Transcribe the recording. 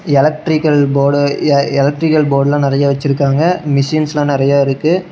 Electrical board எல electrical board லாம் நறைய வச்சிருக்காங்க மெஷின்ஸ் லாம் நறைய இருக்கு.